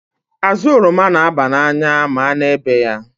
Azụ oroma n'aba n'anya ma a na-ebe ya.